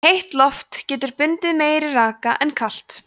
heitt loft getur bundið meiri raka en kalt